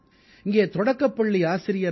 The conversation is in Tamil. இங்கே தொடக்கப்பள்ளி ஆசிரியரான பீ